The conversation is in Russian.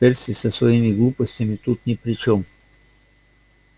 перси со своими глупостями тут ни при чём